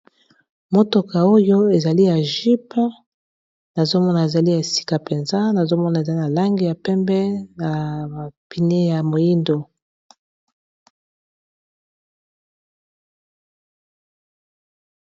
motoka oyo ezali ya jipe nazomona ezali esika mpenza nazomona ezali na langi ya pembe na bapine ya moyindo .